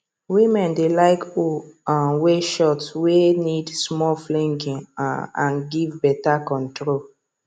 women dey like hoe um way short way need small flinging um and give beta control